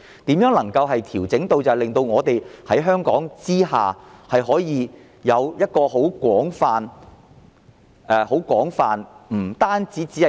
如何能夠作出調整，令香港保險業的業務更為廣泛，不止是